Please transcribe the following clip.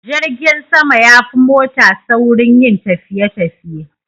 Jirgin sama yafi mota saurin yin tafiye tafiye